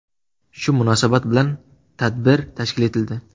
Shu munosabat bilan tadbir tashkil etildi.